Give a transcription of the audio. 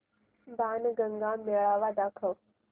बाणगंगा मेळावा दाखव